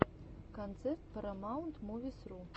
концерт парамаунтмувисру